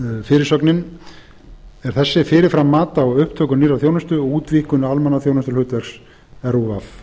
fyrirsögnin er þessi fyrirfram mat á upptöku nýrrar þjónustu og útvíkkun almannaþjónustuhlutverks rúv